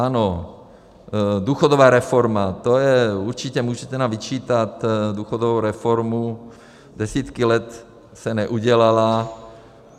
Ano, důchodová reforma, to je určitě, můžete nám vyčítat důchodovou reformu, desítky let se neudělala.